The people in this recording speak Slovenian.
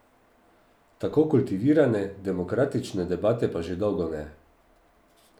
Tako kultivirane, demokratične debate pa že dolgo ne.